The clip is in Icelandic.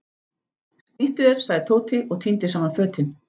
Snýttu þér sagði Tóti og tíndi saman fötin.